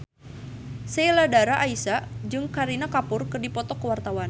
Sheila Dara Aisha jeung Kareena Kapoor keur dipoto ku wartawan